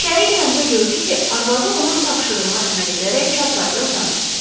İçəri girəndə gördü ki, arvadı onun tapşırığına əməl edərək çarpayıda uzanıb.